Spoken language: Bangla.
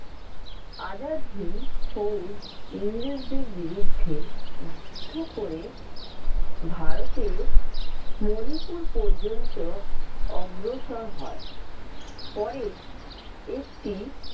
আজাদহিন্দ ফৌজ ইংরেজদের বিরুদ্ধে যুদ্ধ করে ভারতের মণিপুর পর্যন্ত অগ্রসর হয়। পরে একটি